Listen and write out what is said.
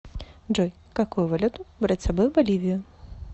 джой какую валюту брать с собой в боливию